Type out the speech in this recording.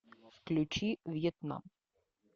включи вьетнам